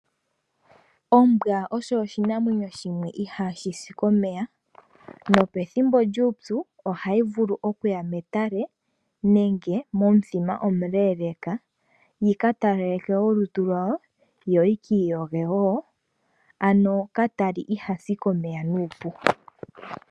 Ombwa osho oshinamwenyo shimwe ihashi si komeya. nope thimbo lyupyu ohayi vulu okuya metale nenge momuthima omuleeleeka yika talaleke olutu lwawo yo yikiiyoge woo, ano katali ihasi komeya nuupu.